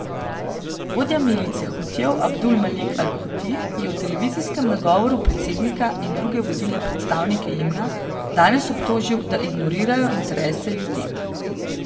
Vodja milice Hutijev Abdul Malik al Huti je v televizijskem nagovoru predsednika in druge vodilne predstavnike Jemna danes obtožil, da ignorirajo interese ljudi.